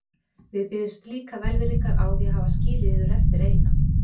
Við biðjumst líka velvirðingar á því að hafa skilið yður eftir eina.